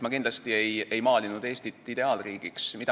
Ma kindlasti ei maalinud pilti Eestist kui ideaalriigist.